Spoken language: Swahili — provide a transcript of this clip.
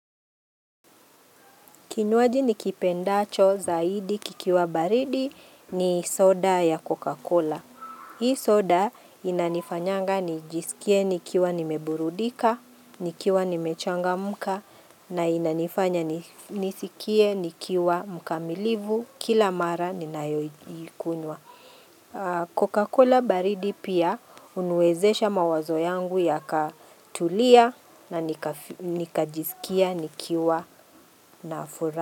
Kinywaji nikipendacho zaidi kikiwa baridi ni soda ya Coca-Cola. Hii soda inanifanyanga nijisikie nikiwa nimeburudika, nikiwa nimechangamka na inanifanya nisikie nikiwa mkamilivu kila mara ninayoikunywa. Coca-Cola baridi pia huniwezesha mawazo yangu yakatulia na nikajisikia nikiwa na furaha.